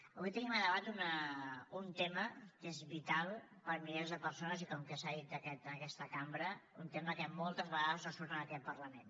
avui tenim a debat un tema que és vital per a milers de persones i com que s’ha dit en aquesta cambra un tema que moltes vegades no surt en aquest parlament